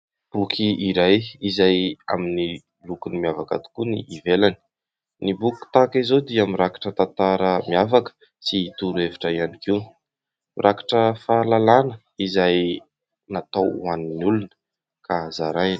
Boky iray izay amin'ny lokony miavaka tokoa ny ivelany, ny boky tahaka izao dia mirakitra tantara miavaka sy toro hevitra ihany koa, mirakitra fahalalàna izay natao ho an'ny olona ka zaraina.